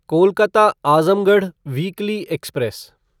Kolkata Azamgarh weekly express